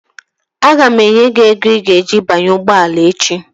Aga m enye gị ego i ga-eji banye ụgbọala echi